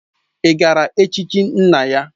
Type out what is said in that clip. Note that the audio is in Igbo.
Ị gara ochichi nna ya?